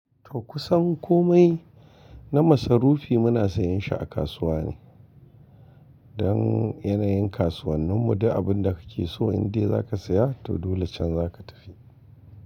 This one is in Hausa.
To kusan komai na masarufi muna sayin shi a kasuwa ne. Don yanayin kasuwannin mu, duk abin da kake so indai za ka siya to dole can za ka tafi.